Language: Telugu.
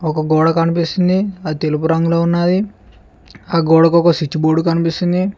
ఒక గోడ కనిపిస్తుంది అది తెలుపు రంగులో ఉన్నాది ఆ గోడకు ఒక స్విచ్ బోర్డు కనిపిస్తుంది.